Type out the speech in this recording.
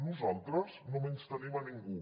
nosaltres no menystenim ningú